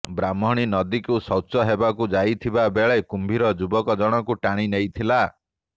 ବ୍ରାହ୍ମଣୀ ନଦୀକୁ ଶୌଚ ହେବାକୁ ଯାଇଥିବା ବେଳେ କୁମ୍ଭୀର ଯୁବକ ଜଣଙ୍କୁ ଟାଣି ନେଇଥିଲା